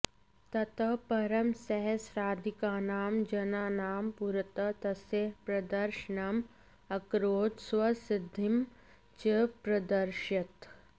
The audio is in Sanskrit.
ततः परं सहस्राधिकानां जनानां पुरतः तस्य प्रदर्शनम् अकरोत् स्वसिद्धिं च प्रादर्शयत्